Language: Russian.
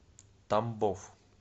тамбов